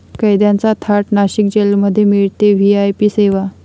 कैद्यांचा थाट, नाशिक जेलमध्ये मिळते व्हीआयपी सेवा